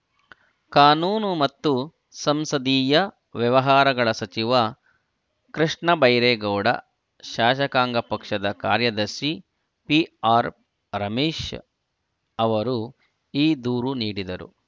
ಕಾನೂನು ಮತ್ತು ಸಂಸದೀಯ ವ್ಯವಹಾರಗಳ ಸಚಿವ ಕೃಷ್ಣಬೈರೇಗೌಡ ಶಾಸಕಾಂಗ ಪಕ್ಷದ ಕಾರ್ಯದರ್ಶಿ ಪಿಆರ್‌ ರಮೇಶ್‌ ಅವರು ಈ ದೂರು ನೀಡಿದರು